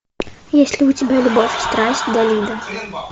есть ли у тебя любовь и страсть далида